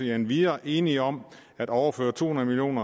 er endvidere enige om at overføre to hundrede million